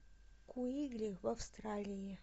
куигли в австралии